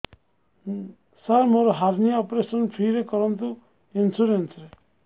ସାର ମୋର hernia operation free ରେ କରନ୍ତୁ ଇନ୍ସୁରେନ୍ସ ରେ